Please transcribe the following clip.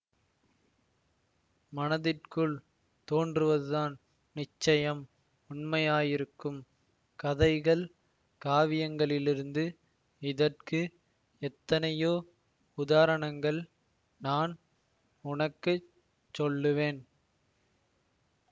மனத்திற்குள் தோன்றுவதுதான் நிச்சயம் உண்மையாயிருக்கும் கதைகள் காவியங்களிலிருந்து இதற்கு எத்தனையோ உதாரணங்கள் நான் உனக்கு சொல்லுவேன்